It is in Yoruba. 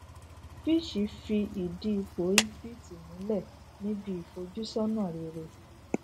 fitch fi idi ipo egypt mulẹ ni b ìfojúsọnà rere